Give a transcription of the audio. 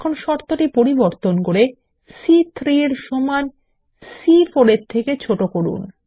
এখন শর্তটি পরিবর্তন করে C3 এর সমান C4 এর থেকে ছোট করুন